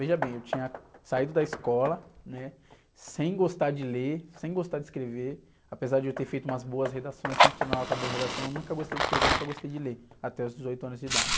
Veja bem, eu tinha saído da escola, né? Sem gostar de ler, sem gostar de escrever, apesar de eu ter feito umas boas redações, sempre tive uma nota boa em redação, eu nunca gostei de escrever, nunca gostei de ler, até os dezoito anos de idade.